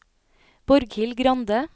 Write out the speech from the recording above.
Borghild Grande